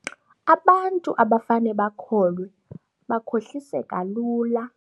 Abantu abafane bakholwe bakhohliseka lula.